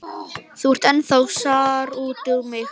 Þú ert ennþá sár út í mig.